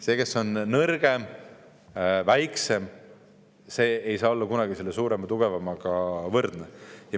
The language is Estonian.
See, kes on nõrgem ja väiksem, ei saa kunagi olla suurema ja tugevamaga võrdne.